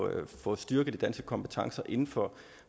at få styrket de danske kompetencer inden for